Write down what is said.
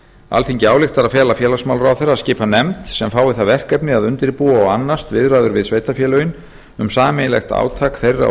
alþingi ályktar að fela félagsmálaráðherra að skipa nefnd sem fái það verkefni að undirbúa og annast viðræður við sveitarfélögin um sameiginlegt átak þeirra og